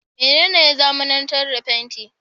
Mene ne ya zamanantar da fenti?